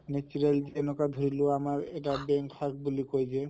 natural এনেকুৱা ধৰি লোৱা আমাৰ এটা বেং শাক বুলি কয় যে